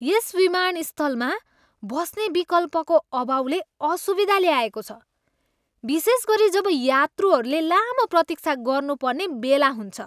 यस विमानस्थलमा बस्ने विकल्पको अभावले असुविधा ल्याएको छ, विशेष गरी जब यात्रुहरूले लामो प्रतीक्षा गर्नुपर्ने बेला हुन्छ।